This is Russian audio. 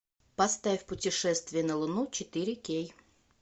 поставь путешествие на луну четыре кей